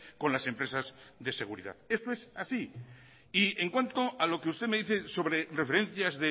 con las empresas de seguridad esto es así y en cuanto a lo que usted me dice sobre referencias